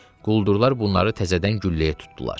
quldurlar bunları təzədən gülləyə tutdular.